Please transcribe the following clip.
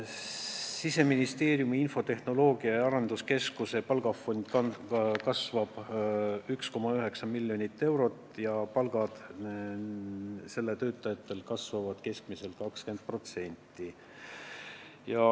Siseministeeriumi infotehnoloogia- ja arenduskeskuse palgafond kasvab 1,9 miljonit eurot ja töötajate palgad kasvavad keskmiselt 20%.